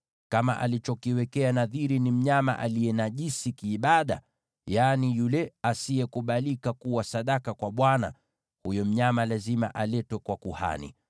Kama alichokiwekea nadhiri ni mnyama aliye najisi kiibada, yaani yule asiye kubalika kuwa sadaka kwa Bwana , huyo mnyama lazima aletwe kwa kuhani,